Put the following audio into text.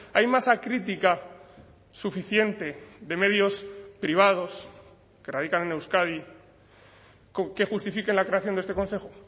hay masa crítica suficiente de medios privados que radican en euskadi que justifiquen la creación de este consejo